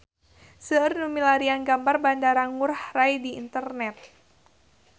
Seueur nu milarian gambar Bandara Ngurai Rai di internet